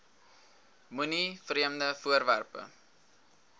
moenie vreemde voorwerpe